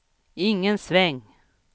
ingen sväng